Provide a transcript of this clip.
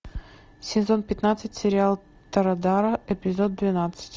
сезон пятнадцать сериал торадора эпизод двенадцать